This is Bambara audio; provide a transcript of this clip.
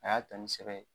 A y'a ta ni sɛbɛ ye